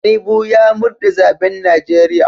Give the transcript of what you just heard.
Tinubu ya murde zaben Najeriya."